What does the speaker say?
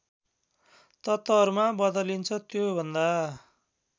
तत्त्वहरूमा बदलिन्छ त्योभन्दा